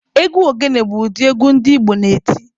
Egwu ogene bụ ụdị egwu ndị Igbo na-eti.